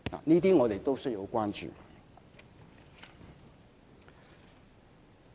這些我們都要關注。